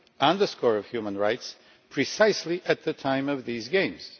on the subject of human rights precisely at the time of these games?